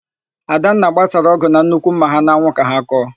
Adanna gbasara ọ́gụ̀ na nnukwu ḿmà ha n'anwụ ka ha kọọ.